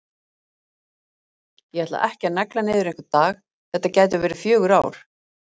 Ég ætla ekki að negla niður einhvern dag, þetta gætu verið fjögur ár.